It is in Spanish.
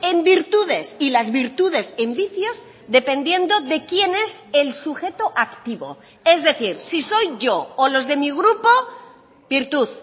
en virtudes y las virtudes en vicios dependiendo de quién es el sujeto activo es decir si soy yo o los de mi grupo virtud